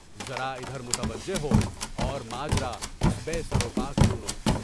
ذرا ادھر متوجہ ہو، اور ماجرا اس بے سر و پا کا سنو!